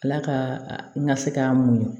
Ala ka na se k'an mun